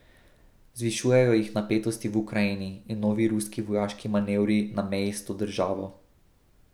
Zvišujejo jih napetosti v Ukrajini in novi ruski vojaški manevri na meji s to državo.